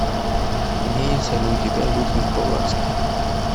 имеется ли у тебя людвиг баварский